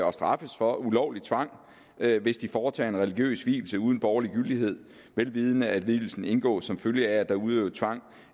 og straffes for ulovlig tvang hvis de foretager en religiøs vielse uden borgerlig gyldighed vel vidende at vielsen indgås som følge af at der er udøvet tvang